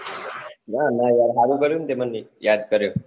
ના ના યાર હારું કર્યું ને તે મન યાદ્દ કર્યો